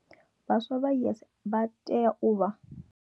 Vhaswa vha YES vha tea u vha.